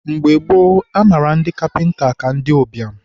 mgbe gboo, a mara ndi kapịnta ka ndị ụbịam